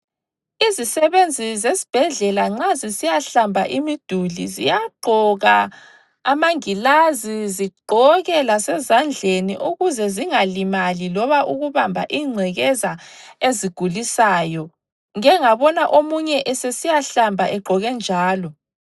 Izisebenzi zesibhedlela nxa zisiyahlamba imiduli ziyagqoka amangilazi zigqoke lasezandleni ukuze zingalimali loba ukubamba ingcekeza ezigulisayo. Ngike ngabona omunye esesiyahlamba egqoke njalo.